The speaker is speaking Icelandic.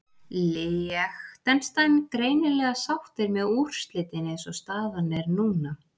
Liechtenstein greinilega sáttir með úrslitin eins og staðan er núna.